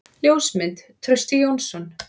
Ljósmynd: Trausti Jónsson.